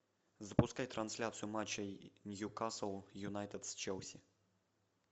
запускай трансляцию матча ньюкасл юнайтед с челси